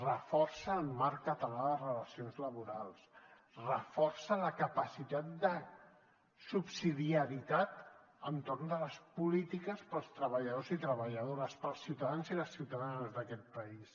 reforça el marc català de relacions laborals reforça la capacitat de subsidiarietat entorn de les polítiques per als treballadors i treballadores per als ciutadans i les ciutadanes d’aquest país